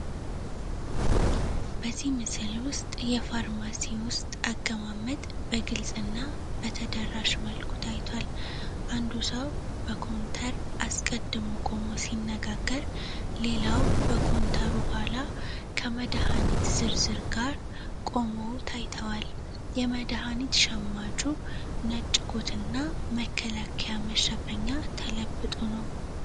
በዚህ ምስል ውስጥ የፋርማሲ ውስጥ አቀማመጥ በግልጽ እና በተደራሽ መልኩ ታይቷል። አንዱ ሰው በኮንተር አስቀድሞ ቆሞ ሲነጋገር ሌላው በኮንተሩ ኋላ ከመድሃኒት ዝርዝር ጋር ቆመው ታይተዋል። የመድሃኒት ሸማቹ ነጭ ኮት እና መከላከያ መሸፈኛ ተለብጦ ነው።